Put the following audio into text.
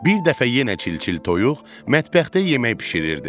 Bir dəfə yenə çil-çil toyuq mətbəxdə yemək bişirirdi.